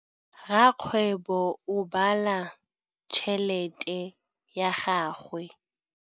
Rakgwêbô o bala tšheletê ya gagwe.